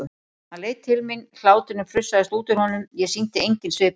Hann leit til mín, hláturinn frussaðist út úr honum, ég sýndi engin svipbrigði.